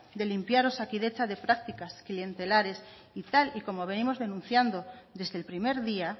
de limpiar osakidetza de prácticas clientelares y tal y como venimos denunciando desde el primer día